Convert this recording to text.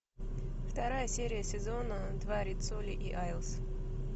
вторая серия сезона два риццоли и айлс